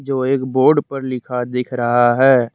जो एक बोर्ड पर लिखा दिख रहा है।